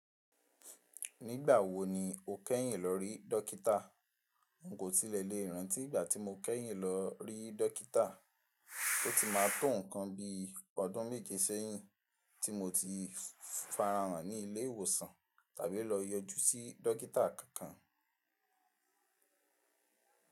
Nigbawo lo kẹyin lọ rí dokita. N ò tilẹ̀ lè rántí ìgbà tí mo kẹ́yìn lọ rí dọ́kítà. Ó ti má tò ǹkan bi ọdún méje sẹ́yìn tí mo ti farahàn ní ilé ìwòsàn tàbí lọ yọjú sí dọ́kítà kankan.